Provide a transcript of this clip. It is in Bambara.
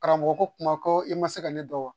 Karamɔgɔ ko kuma ko i ma se ka ne dɔn wa